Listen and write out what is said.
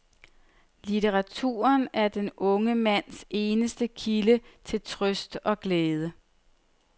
Litteraturen er den unge mands eneste kilde til trøst og glæde.